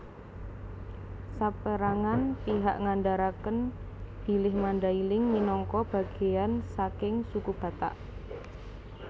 Sapérangan pihak ngandharaken bilih Mandailing minangka bagéyan saking Suku Batak